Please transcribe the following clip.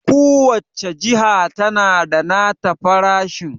ku wacce jiya tana da nata farashin